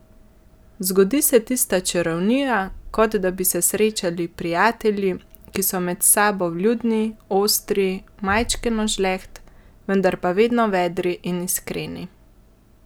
Zgodi se tista čarovnija, kot da bi se srečali prijatelji, ki so med sabo vljudni, ostri, majčkeno žleht, vendar pa vedno vedri in iskreni.